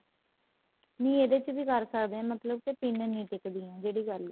ਨਹੀਂ ਇਹਦੇ ਚ ਵੀ ਕਰ ਸਕਦੇ ਹਾਂ ਮਤਲਬ ਕੀ ਪਿੰਨ ਨਹੀਂ ਟਿੱਕਦੀਆਂ ਜਿਹੜੀ ਗੱਲ ਏ